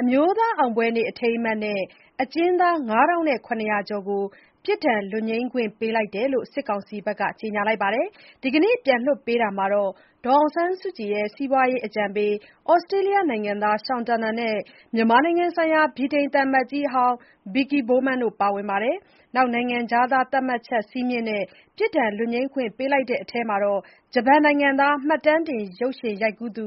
အမျိုးသားအောင်ပွဲနေ့ အထိမ်းအမှတ်နဲ့ အကျဉ်းသား ၅,၇၀၀ ကျော်ကို ပြစ်ဒဏ် လွတ်ငြိမ်းခွင့်ပေးတယ်လို့ စစ်ကောင်စီက ကြေညာခဲ့ပြီးနောက် ဒီနေ့ပြန်လွှတ်ပေးနေတာမှာ ဒေါ်အောင်ဆန်းစုကြည်ရဲ့ စီးပွားရေးအကြံပေး သြစတြေးလျနိုင်ငံသား Sean Turnell နဲ့ မြန်မာနိုင်ငံဆိုင်ရာ ဗြိတိန်သံအမတ်ကြီးဟောင်း Vicky Bowman တို့ပါဝင်ပါတယ်။ နိုင်ငံခြားသား သတ်မှတ်ချက်စည်းမျဉ်းနဲ့ ပြစ်ဒဏ်လွတ်ငြိမ်းခွင့်ပေးလိုက်တာတဲ့ထဲမှာ ဂျပန်နိုင်ငံသား မှတ်တမ်းတင်ရုပ်ရှင် ရိုက်ကူးသူ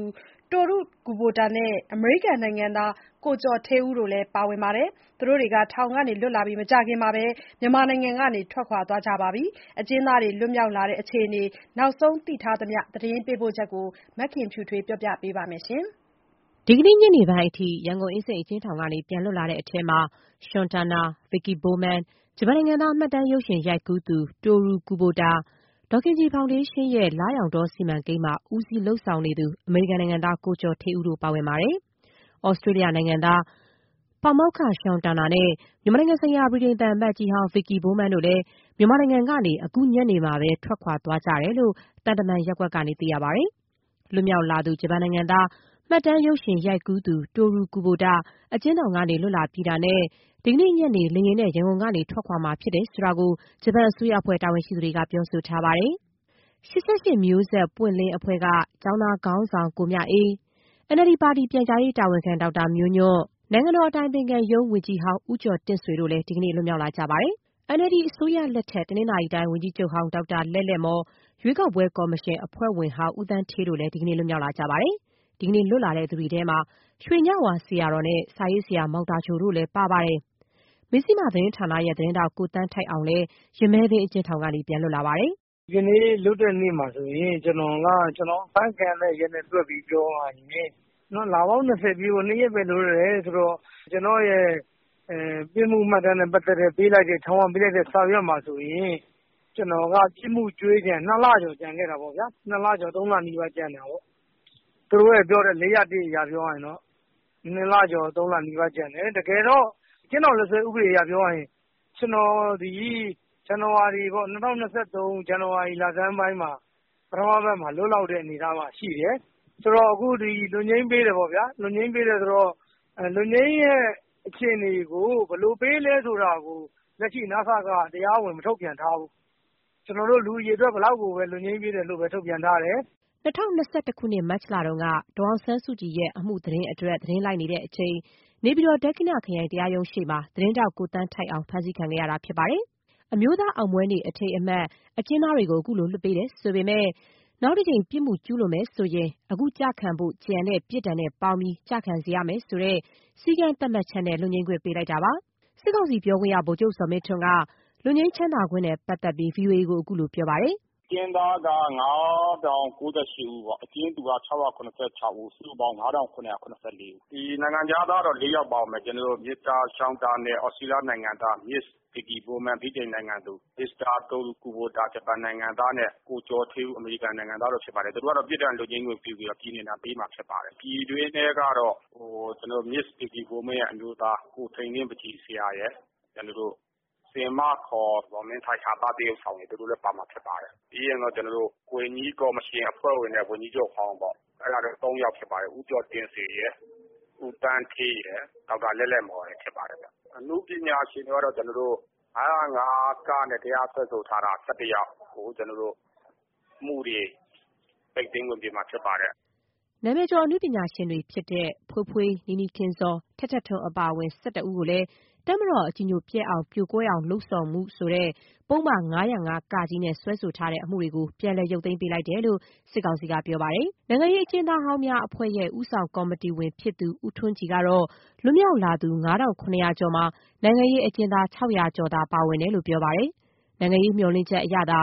Toru Kubota နဲ့ အမေရိကန်နိုင်ငံသား ကိုကျော်ဌေးဦးတို့လည်း ပါဝင်ပါတယ်။ သူတို့တွေ ထောင်ကလွတ်လာပြီး မကြာခင်မှာပဲ မြန်မာနိုင်ငံကနေ ထွက်ခွာခဲ့ကြပါတယ်။ အကျဉ်းသားတွေ လွတ်မြောက်လာတဲ့အခြေအနေ နောက်ဆုံးသိထားသမျှ သတင်းပေးပို့ချက်ကို မခင်ဖြူထွေးက တင်ပြပေးထားပါတယ်။ ဒီနေ့ ညနေပိုင်းအထိ ရန်ကုန်အင်းစိန်အကျဉ်းထောင်ကနေ ပြန်လွတ်လာတဲ့ထဲမှာ Sean Turnell၊ Vicky Bowman၊ ဂျပန်နိုင်ငံသား မှတ်တမ်းရုပ်ရှင်ရိုက်ကူးသူ Toru Kubota၊ ဒေါ်ခင်ကြည်ဖောင်ဒေးရှင်းရဲ့ လရောင်တောစီမံကိန်းမှာ ဦးစီးဦးဆောင်လုပ်နေသူ အမေရိကန်နိုင်ငံသား ကိုကျော်ဌေးဦးတို့ ပါဝင်ပါတယ်။ သြစတြေးလျနိုင်ငံသား နိုင်ငံသား ပါမောက္ခ Sean Turnell နဲ့ မြန်မာနိုင်ငံဆိုင်ရာ ဗြိတိန်သံအမတ်ကြီးဟောင်း Vicky Bowman တို့လည်း မြန်မာနိုင်ငံကနေ အခုညနေမှာပဲ ထွက်ခွာသွားခဲ့ကြတယ်လို့ သံတမန်ရပ်ကွက်က သိရပါတယ်။ လွတ်မြောက်လာသူ ဂျပန်နိုင်ငံသား မှတ်တမ်းရုပ်ရှင်ရိုက်ကူးသူ Toru Kubota အကျဉ်းထောင်က လွတ်လာပြီးတာနဲ့ ဒီနေ့ညနေ လေယာဉ်နဲ့ ရန်ကုန်ကထွက်ခွာမှာဖြစ်တယ်လို့ ဂျပန်အစိုးရအဖွဲ့ တာဝန်ရှိသူတွေက ပြောထားပါတယ်။ ၈၈ မျိုးဆက်ပွင့်လင်းအဖွဲ့က ကျောင်းသားခေါင်းဆောင် ကိုမြအေး၊ NLD ပါတီပြန်ကြားရေးတာဝန်ခံ ဒေါက်တာမျိုးညွန့်၊ နိုင်ငံတော် အတိုင်ပင်ခံရုံးဝန်ကြီးဟောင်း ဦးကျော်တင့်ဆွေတို့လည်း ဒီနေ့ လွတ်မြောက်လာကြပါတယ်။ NLD အစိုးရလက်ထက် တနင်္သာရီတိုင်း ဝန်ကြီးချုပ်ဟောင်း ဒေါက်တာလဲ့လဲ့မော်၊ ရွေးကောက်ပွဲကော်မရှင် အဖွဲ့ဝင်ဟောင်း ဦးသန်းဌေးတို့လည်း ဒီနေ့ လွတ်မြောက်လာကြပါတယ်။ ဒီကနေ့ လွတ်လာသူတွေထဲမှာ ရွှေညဝါဆရာတော်နဲ့ စာရေးဆရာ မောင်သာချိုတို့လည်း ပါဝင်ပါတယ်။ မဇ္ဇျိမသတင်းဌာနရဲ့သတင်းထောက် ကိုသန်းထိုက်အောင်လည်း ရမည်းသင်းအကျဉ်းထောင် ကနေ ပြန်လွတ်လာပါတယ်။ “ဒီနေ့ လွတ်တဲ့နေ့မှာဆိုရင် ကျနော်အဖမ်းခံရတဲ့ရက်နဲ့တွက်ပြီး ပြောရရင် လပေါင်း ၂၀ ပြည့်ဖို့ ၂ ရက်ပဲ လိုတော့တယ်ဆိုတော့ ကျနော့်ရဲ့ပြစ်မှုမှတ်တမ်းနဲ့ပတ်သက်တဲ့ ထောင်ကပေးလိုက်တဲ့စာရွက်မှာဆိုရင် ကျနော်က ပြစ်မှုကြွေးကျန် ၂ လကျော်ကျန်တာပေါ့ဗျာ။ နှစ်လကျော် သုံးလနီးပါး ကျန်တာပေါ့။ သူတို့နဲ့ပြောတဲ့ ၄၀၁ အရ ပြောရရင်တော့ နှစ်လကျော် သုံးလနီးပါးကျန်တယ်။ တကယ်တော့ အကျဉ်းထောင်လက်စွဲဥပဒေအရပြောရရင် ကျနော်သည် ၂၀၂၃၊ ဇန်နဝါရီလဆန်းပိုင်းမှာ လွတ်လောက်တဲ့အနေအထားမှာရှိတယ်။...ဆိုတော့ အခု လွတ်ငြိမ်းပေးတယ်ပေါ့ဗျာ၊ လွတ်ငြိမ်းပေးတယ်ဆိုတော့ လွတ်ငြိမ်းရဲ့အခြေအနေကို ဘယ်လိုပေးလဲဆိုတာကို လက်ရှိ နစက က တရားဝင်ထုတ်ပြန်မထားဘူး။ လူအရေအတွက်ဘယ်လောက်ကိုပဲ လွတ်ငြိမ်းပေးတယ်လို့ပဲ ထုတ်ပြန်ထားတယ်။” ၂၀၂၁ ခုနှစ် မတ်လတုန်းက ဒေါ်အောင်ဆန်းစုကြည်ရဲ့ အမှုသတင်းအတွက်သတင်းလိုက်နေစဉ် နေပြည်တော် ဒက္ခိဏခရိုင်တရားရုံးရှေ့မှာ သတင်းထောက် ကိုသန်းထိုက်အောင် ဖမ်းဆီးခံခဲ့ရတာဖြစ်ပါတယ်။ အမျိုးသားအောင်ပွဲနေ့ အထိမ်းအမှတ် အကျဉ်းသားတွေကို အခုလို လွှတ်ပေးတယ်ဆိုပေမဲ့ နောက်တကြိမ်ပြစ်မှုကျုးလွန်မယ်ဆိုရင် အခုကျခံဖို့ကျန်တဲ့ ပြစ်ဒဏ်နဲ့ ပေါင်းပြီး ကျခံရစေရမယ်ဆိုတဲ့ စည်းကမ်းသတ်မှတ်ချက်နဲ့ လွတ်ငြိမ်းခွင့်ပေးလိုက်တာပါ။ စစ်ကောင်စီပြောခွင့်ရ ဗိုလ်ချုပ်ဇော်မင်းထွန်းက လွတ်ငြိမ်းချမ်းသာခွင့်နဲ့ ပတ်သက်ပြီး VOA ကို အခုလိုပြောပါတယ်။ “အကျဉ်းသားက ၅,၀၉၈ ဦး အကျဉ်းသူက ၆၇၆ ဦး၊ စုစုပေါင်း ၅,၇၇၄ ဦးပေါ့။ နိုင်ငံခြားသား ၄ ဦးပါ-ပါ တာပေါ့။ သြစတြေးလျနိုင်ငံသား မစ္စတာ ရှောင်တာနယ်၊ ဗြိတိန်နိုင်ငံသူ ဗစ်ကီ ဘိုးမန်း၊ ဂျပန် နိုင်ငံသား တိုရူကူဘိုတာ၊ အမေရိကန်နိုင်ငံသား ကိုကျော်ဌေးဦး တို့ပါတယ်။ သူတို့ကိုပြစ်ဒဏ်လွတ်ငြိမ်းခွင့်ပေးပြီး ပြည်နှင်ဒဏ်ပေးမှာဖြစ်တယ်။ ပြည်တွင်းထဲကတော့ မစ်္စ ဗစ်ကီဘိုမန်းရဲ့အမျိုးသား ကိုထိန်လင်း ပန်ချီဆရာရယ်၊ ဟာသသရုပ်ဆောင် ဆင်မ ဇော်မင်းထိုက်တို့ပါမှာဖြစ်ပါတယ်။ ပြီးတော့ ဝန်ကြီးနဲ့ဝန်ကြီးချုပ်နဲ့ ကော်မရှင်ဟောင်းကလူတွေပေါ့။ ဦးကျော်တင့်ဆွေ၊ ဒေါက်တာလဲ့လဲ့မော်၊ ဦးသန်းဌေးတို့ဖြစ်ပါတယ်။ နောက် အနုပညာရှင်တွေက ၅၀၅-ကနဲ့စွဲဆိုထားတဲ့ ၁၁ ယောက်ကို အမှုတွေ ပိတ်သိမ်းခွင့်ပေးမှာဖြစ်ပါတယ်။” နာမည်ကျော်အနုပညာရှင်တွေဖြစ်တဲ့ ဖွေးဖွေး၊ နီနီခင်ဇော်၊ ထက်ထက်ထွန်းအပါအဝင် ၁၁ ဦးကို တပ်မတော်အကြည်ညိုပျက်အောင် ပြိုကွဲအောင် လုပ်ဆောင်မှု ခေါ်တဲ့ ပုဒ်မ ၅၀၅-က စွဲဆိုထားတဲ့အမှုတွေကို ပြန်လည်ရုပ်သိမ်းပေးလိုက်တယ်လို့ စစ်ကောင်စီကပြောပါတယ်။ နိုင်ငံရေးအကျဉ်းသားဟောင်းများအဖွဲ့ရဲ့ ဦးဆောင်ကော်မတီဝင်ဖြစ်သူ ဦးထွန်းကြည်ကတော့ လွတ်မြောက်လာသူ ၅,၇၀၀ကျော်မှာ နိုင်ငံရေးအကျဉ်းသား ၆၀၀ ကျော်သာပါဝင်တယ်လို့ ဆိုပါတယ်။ နိုင်ငံရေးမျှော်လင့်ချက်အရသာ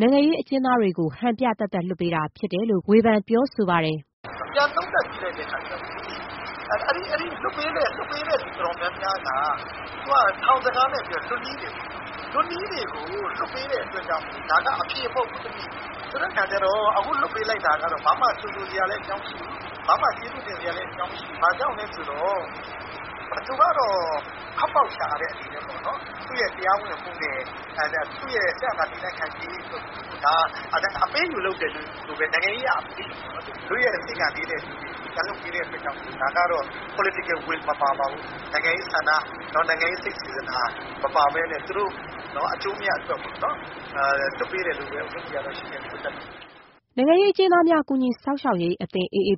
နိုင်ငံရေးအကျဉ်းသားတွေကို ဟန်ပြသက်သက်လွှတ်ပေးတာဖြစ်တယ် လို့ ဝေဖန်ပြောဆိုပါတယ်။ “ပြန်သုံးသပ်ကြည့်တဲ့အခါကျတော့ လွှတ်ပေးတဲ့သူတော်တော်များများက ထောင်စကားနဲ့ပြောရင်လွတ်နီးတွေ။ လွတ်နီးတွေကိုလွှတ်တာ အဖြေမဟုတ်ဘူး။ ခုလွှတ်ပေးတာကြိုဆိုစရာလည်း မရှိဘူး။ ကျေးဇူးတင်စရာလည်း မရှိဘူး။ ဘာကြောင့်လဲဆိုတော့ သူတို့ကထွက်ပေါက်ရှာတဲ့အနေနဲ့ပေါ့- သူ့ရဲ့ထွက်ပေါက်ရှာမှုနဲ့သူ့ရဲ့တည်တံ့ခိုင်မြဲရေးတရားဝင်မှုအတွက် နိုင်ငံရေးအရအပေးအယူပေါ့။ လွတ်ရက်စေ့သူတွေကိုပြန်လွှတ်ပေးတာက နိုင်ငံရေးအရ စေတနာမပါဘူး။ သူတို့အကျိုးအမြတ်အတွက်လုပ်တယ်လို့ပဲ ရှုမြင်တယ်။” AAPP နိုင်ငံရေးအကျဉ်းသားများကူညီစောင့်ရှောက်ရေးအသင်း စာရ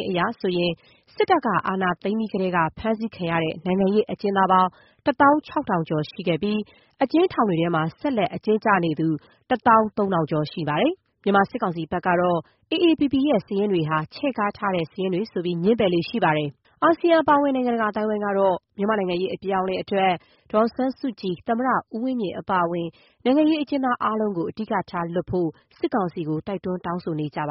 င်းအရဆိုရင် စစ်တပ်ကအာဏာသိမ်းပြီးကတည်းက ဖမ်းဆီးခံရတဲ့ နိုင်ငံရေးအကျဉ်းသားပေါင်း ၁ သောင်း ၆ ထောင်ကျော်ရှိခဲ့ပြီး အကျဉ်းထောင်တွေထဲမှာ ဆက်လက်အကျဉ်းကျနေသူ ၁ သောင်း ၃ ထောင်ကျော် ရှိနေသေးတယ် လို့ ပြောပါတယ်။ မြန်မာစစ်ကောင်စီဘက်ကတော့ AAPP ရဲ့ စာရင်းတွေဟာ ချဲ့ကားထားတဲ့ စာရင်းတွေဆိုပြီး ငြင်းပယ်လေ့ရှိပါတယ်။ အာဆီယံအပါအဝင် နိုင်ငံတကာကတာ့ မြန်မာ့ နိုင်ငံရေးအပြောင်းအလဲအတွက် ဒေါ်အောင်ဆန်းစုကြည်၊ သမ္မတဦးဝင်းမြင့်အပါအဝင် နိုင်ငံရေးအကျဉ်းသားတွေကို အဓိကထားလွှတ်ဖို့ စစ်ကောင်စီကို တိုက်တွန်း တောင်းဆိုနေကြပါ